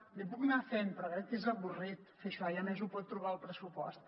l’hi puc anar fent però crec que és avorrit fer això i a més ho pot trobar al pressupost